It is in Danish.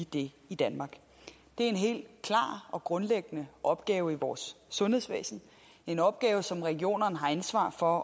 det i danmark det er en helt klar og grundlæggende opgave i vores sundhedsvæsen en opgave som regionerne har ansvar for at